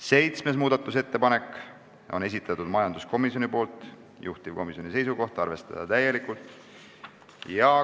Seitsmenda muudatusettepaneku on esitanud majanduskomisjon, juhtivkomisjoni seisukoht on arvestada täielikult.